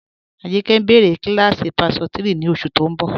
Ajìnkẹ́ ǹ béré kílásí páṣọtírí ní oṣù tó ǹ bọ.